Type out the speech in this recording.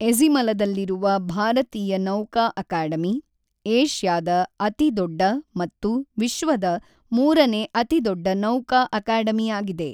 ಎಝಿಮಲದಲ್ಲಿರುವ ಭಾರತೀಯ ನೌಕಾ ಅಕಾಡೆಮಿ, ಏಷ್ಯಾದ ಅತಿದೊಡ್ಡ ಮತ್ತು ವಿಶ್ವದ ಮೂರನೇ ಅತಿದೊಡ್ಡ ನೌಕಾ ಅಕಾಡೆಮಿಯಾಗಿದೆ.